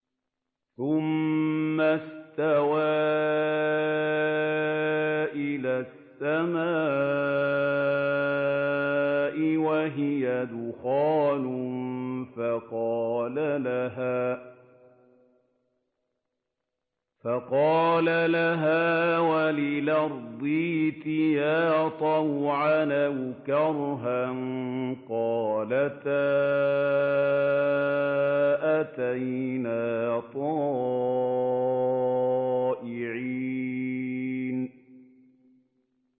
ثُمَّ اسْتَوَىٰ إِلَى السَّمَاءِ وَهِيَ دُخَانٌ فَقَالَ لَهَا وَلِلْأَرْضِ ائْتِيَا طَوْعًا أَوْ كَرْهًا قَالَتَا أَتَيْنَا طَائِعِينَ